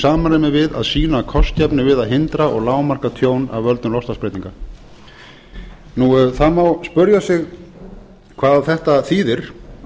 samræmi við að sýna kostgæfni við að hindra og lágmarka tjón af völdum loftslagsbreytinga það má spyrja sig hvað þetta þýðir